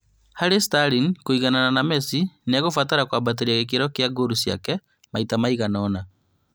Harĩ Sterling kũiganana na Messi nĩekũbatara kwambatĩria gĩkĩro kĩa ngolu ciake maita maiganona